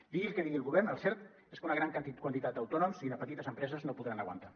digui el que digui el govern el cert és que una gran quantitat d’autònoms i de petites empreses no podran aguantar